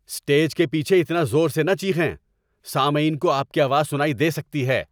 Stage کے پیچھے اتنا زور سے نہ چیخیں۔ سامعین کو آپ کی آواز سنائی دے سکتی ہے۔